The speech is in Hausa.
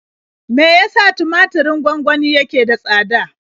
Me ya sa tumaturin gwangwani yake da tsada?